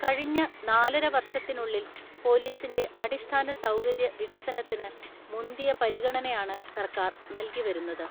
കഴിഞ്ഞ നാലര വർഷത്തിനുളളിൽ പോലീസിന്റെ അടിസ്ഥാന സൗകര്യ വിക സനത്തിന് മുന്തിയ പരിഗണനയാണ് സർക്കാർ നൽകിവരുന്നത്.